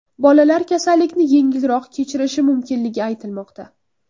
Bolalar kasallikni yengilroq kechirishi mumkinligi aytilmoqda.